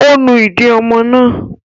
Ó nu ìdí ọmọ náà?